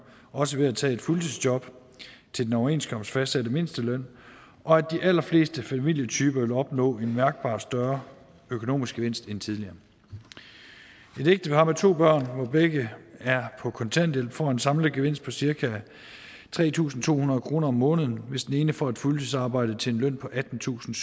også ved at tage et fuldtidsjob til den overenskomstmæssigt fastsatte mindsteløn og at de allerfleste familietyper vil opnå en mærkbart større økonomisk gevinst end tidligere et ægtepar med to børn hvor begge er på kontanthjælp får en samlet gevinst på cirka tre tusind to hundrede kroner om måneden hvis den ene får et fuldtidsarbejde til en løn på attentusinde